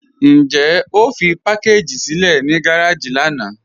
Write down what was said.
Njẹ́ o fí pakàgì sílẹ̀ ní gàràjì lànà?